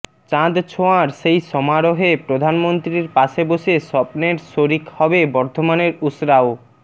চাঁদ ছোঁয়ার সেই সমারোহে প্রধানমন্ত্রীর পাশে বসে স্বপ্নের শরিক হবে বর্ধমানের উসরাও